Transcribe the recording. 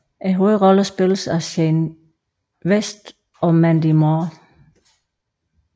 Hovedrollerne spilles af Shane West og Mandy Moore